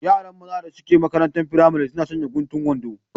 Yaran maza da suke maƙarantar firamare suna sanƴa guntun wanɗo